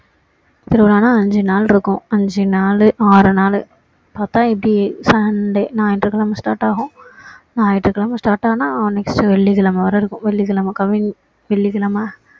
திருவிழான்னா ஐந்து நாள் இருக்கும் ஐந்து நாள் ஆறு நாளு அதான் இப்படி sunday ஞாயிற்றுக்கிழமை start ஆகும் ஞாயிற்றுக்கிழமை start ஆனா next வெள்ளிக்கிழமை வர இருக்கும் வெள்ளிக்கிழமை coming வெள்ளிக்கிழமை